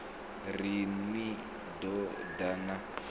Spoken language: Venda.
ri ni ḓo ḓa na